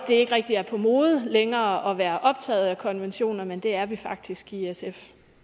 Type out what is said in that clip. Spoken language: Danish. det ikke rigtig er på mode længere at være optaget af konventioner men det er vi faktisk i sf